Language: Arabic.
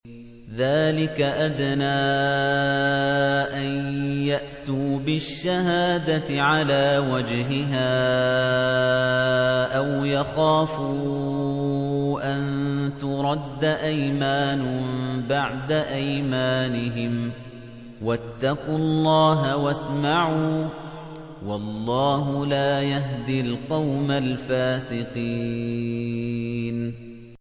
ذَٰلِكَ أَدْنَىٰ أَن يَأْتُوا بِالشَّهَادَةِ عَلَىٰ وَجْهِهَا أَوْ يَخَافُوا أَن تُرَدَّ أَيْمَانٌ بَعْدَ أَيْمَانِهِمْ ۗ وَاتَّقُوا اللَّهَ وَاسْمَعُوا ۗ وَاللَّهُ لَا يَهْدِي الْقَوْمَ الْفَاسِقِينَ